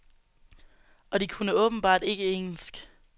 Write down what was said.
Og de kunne åbenbart ikke engelsk.